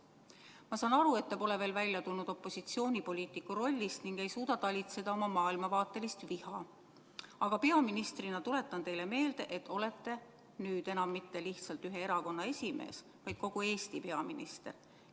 Ma saan aru, et te pole opositsioonipoliitiku rollist veel välja tulnud ning ei suuda talitseda oma maailmavaatelist viha, aga tuletan teile meelde, et peaministrina pole te nüüd enam mitte lihtsalt ühe erakonna esimees, vaid kogu Eesti peaminister.